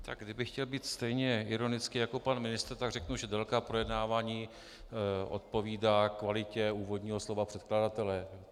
Tak kdybych chtěl být stejně ironický jako pan ministr, tak řeknu, že délka projednávání odpovídá kvalitě úvodního slova předkladatele.